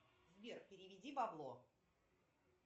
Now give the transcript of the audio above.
сбер переведи бабло